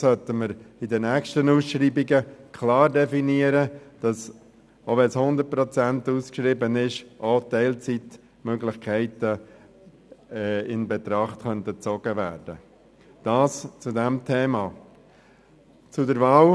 Wir sollten also in den nächsten Ausschreibungen klar definieren, ob allenfalls auch Teilzeitmöglichkeiten in Betracht gezogen werden können, auch wenn sie mit 100 Prozent ausgeschrieben sind.